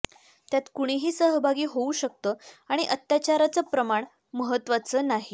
त्यात कुणीही सहभागी होऊ शकतं आणि अत्याचाराचं प्रमाण महत्त्वाचं नाही